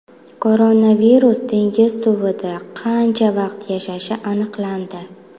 Koronavirus dengiz suvida qancha vaqt yashashi aniqlandi.